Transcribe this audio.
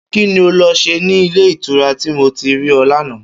Kí ni o lo̩ s̩e ní ilé ìtura tí mo ti rí o̩ lánàá?